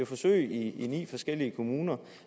forsøg i ni forskellige kommuner